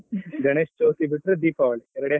ಗಣೇಶ್ ಚೌತಿ ಬಿಟ್ರೆ ದೀಪಾವಳಿ ಎರಡೇ .